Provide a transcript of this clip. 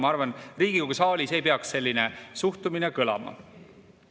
Ma arvan, et Riigikogu saalis ei peaks selline suhtumine kõlama.